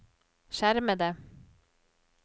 skjermede